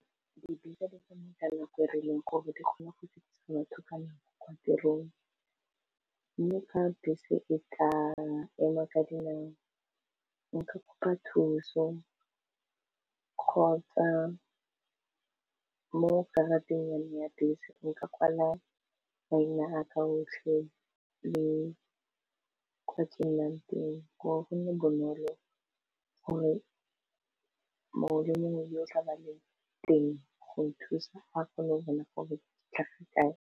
Dibese di tsamaya ka nako e rileng gore di kgone go fitlhisa batho ka nako kwa tirong mme fa bese e kaa engwa ka dinao nka kopa thuso kgotsa mo karateng ya bese nka kwala maina a ka otlhe le kwa ke nnang teng gore go nne bonolo gore mongwe le mongwe yo o tlaba a le teng go nthusa a kgone go bona gore tlhaga kae.